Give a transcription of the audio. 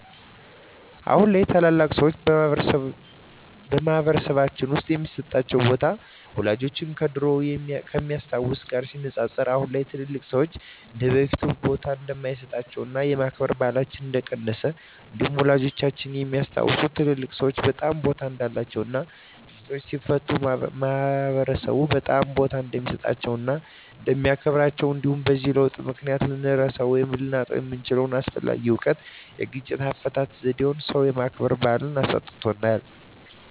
አሁን ላይ ታላላቅ ሰዎች በማህበረሰልባችን ውስጥ የሚሰጣቸው ቦታ ወላጆቻችን ከድሮው ከሚያስታውት ጋር ሲነፃፀር አሁን ላይ ትልልቅ ሰዎች እንደበፊቱ ቦታ እንደማይሰጣቸውና የማክበር ባህላችን እንደቀነሰ እንዲሁም ወላጆቻችን የሚያስታውሱት ትልልቅ ሰዎች በጣም ቦታ እንዳላቸው እና ግጭትን ሲፈቱ ማህበረሰብ በጣም ቦታ እንደሚሰጣቸው እና እንደሚያከብራቸው እንዲሁም በዚህ ለውጥ ምክንያት ልንረሳው ወይም ልናጣው የምንችለው አስፈላጊ እውቀት የግጭት አፈታት ዜዴን ሰው የማክበር ባህልን አሳጥቶናል።